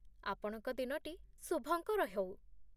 ଆପଣଙ୍କ ଦିନଟି ଶୁଭଙ୍କର ହଉ!